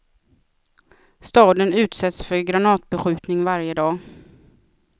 Staden utsätts för granatbeskjutning varje dag.